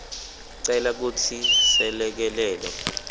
cela kutsi selekelelo